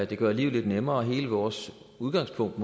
det gør livet lidt nemmere hele vores udgangspunkt